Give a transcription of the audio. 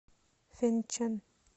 фэнчэн